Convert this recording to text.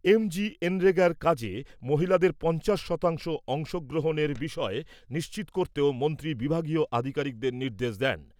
এমজিএনরেগার কাজে মহিলাদের পঞ্চাশ শতাংশ অংশগ্রহণের বিষয় নিশ্চিত করতেও মন্ত্রী বিভাগীয় আধিকারিকদের নির্দেশ দেন।